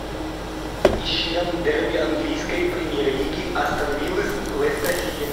ищи нам дерби английской премьер лиги астон виллы с лестер сити